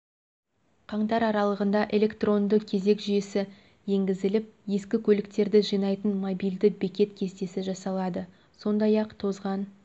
қаңтар аралығында электронды кезек жүйесі енгізіліп ескі көліктерді жинайтын мобильді бекет кестесі жасалады сондай-ақ тозған